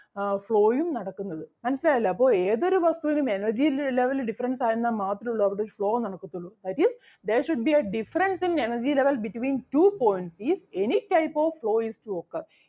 ആഹ് flow ഉം നടക്കുന്നത് മനസ്സിലായല്ലോ അപ്പൊ ഏതൊരു വസ്‌തുവിനും energy level difference ആയിരുന്നാ മാത്രേ ഉള്ളു അവിടെ ഒരു flow നടക്കത്തൊള്ളൂ that is there should be a difference in energy level between two points is any type of flow is to occur